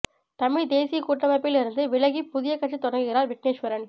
தமிழ் தேசியக் கூட்டமைப்பில் இருந்து விலகி புதிய கட்சி தொடங்குகிறார் விக்னேஸ்வரன்